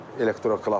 Elektroklapan.